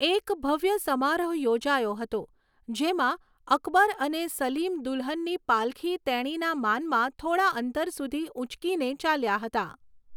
એક ભવ્ય સમારોહ યોજાયો હતો, જેમાં અકબર અને સલીમ દુલ્હનની પાલખી તેણીના માનમાં થોડા અંતર સુધી ઊંચકીને ચાલ્યા હતા.